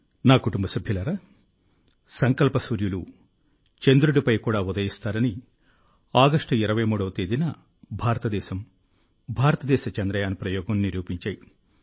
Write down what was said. నా కుటుంబ సభ్యులారా సంకల్ప సూర్యులు చంద్రుడిపై కూడా ఉదయిస్తారని ఆగష్టు 23వ తేదీన భారతదేశం భారతదేశ చంద్రయాన్ ప్రయోగం నిరూపించాయి